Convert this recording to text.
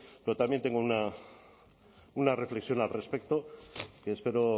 pero también tengo una reflexión al respecto que espero